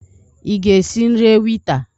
Ị ga-esi nri ewita?